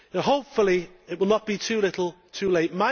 Hopefully, it will not be too little, too late.